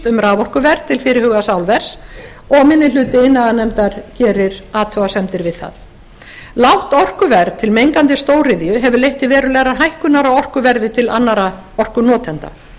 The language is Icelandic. um raforkuverð til fyrirhugaðs álvers og minni hluti iðnaðarnefndar gerir athugasemdir við það lágt orkuverð til mengandi stóriðju hefur leitt til verulegrar hækkunar á orkuverði til annarra orkunotenda